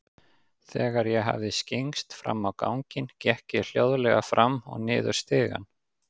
Þegar ég hafði skyggnst fram á ganginn, gekk ég hljóðleg fram og niður stigann.